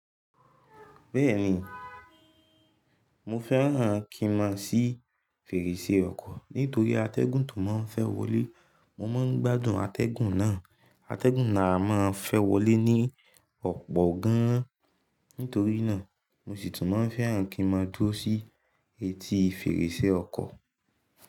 Bẹ́ẹ̀ni, mo fẹ́ràn kí n máa ṣí fèrèsé ọkọ̀ nítorí atẹ́gùn tó máa ń fẹ́ wọlé. Mo máa ń gbádùn atẹ́gùn náà. Atẹ́gùn náà máa ń fẹ́ wọlé ní ọ̀pọ̀ gan-an, nítorí náà mo sì tún máa ń fẹ́ràn kí n máa dúró sí etí fèrèsé ọkọ̀.